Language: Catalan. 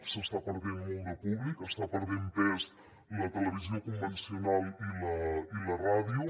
s’està perdent molt de públic estan perdent pes la televisió convencional i la ràdio